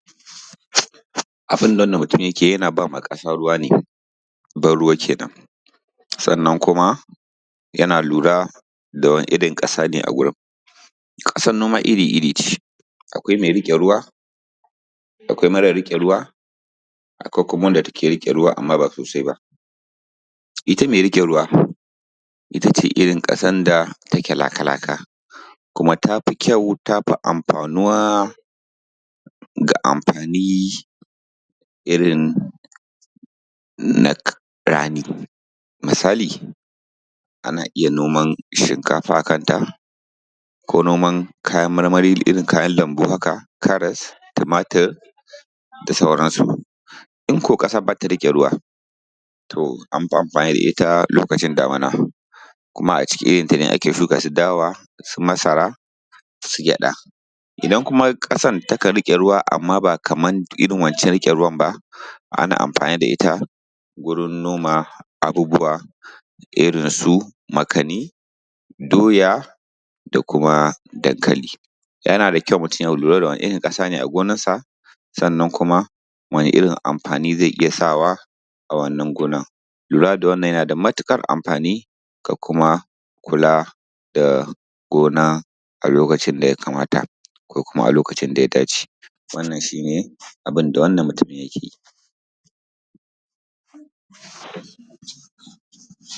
Abin da wannan mutumin yake yi yana ba ma ƙasa ruwa ne ban ruwa kenan, Sannan kuma ya lura da wane irin ƙasa ne a wurin, ƙasar noma iri-iri ce akwai mai riƙe ruwa akwai mara riƙe ruwa, Kuma wadda take riƙe ruwa amma ba sosai ba, Ita mai riƙe ruwa ita ce irin ƙasar da take laka-laka ta fi kyau ta fi amfanuwa, Ga amfani irin na rani misali, Ana iya noman shinkafa a kanta ko kuma kayan marmari irin kayan lambu haka, Karas, Tumatur da sauransu, In ƙasar ba ta riƙe ruwa to an fi amfani da ita lokacin damuna, Kuma a cikin irinta ne ake shuka irin su dawa, masara, su gyaɗa, Idan kuma ƙasar takan riƙe ruwa ba a amfani da ita wurin noma irin su makani, doya dankali, Yana da kyau mutum ya kula wane irin ƙasa ne a gonarsa sannan kuma wane irin amfani zai iya sawa a wannan gonar? Lura da wannan yana da matuƙar amfani ko kuma kula da gona a lokacin da ya kamata ko kuma a lokacin da ya dace, Wannan shi ne abin da wannan mutum yake yi.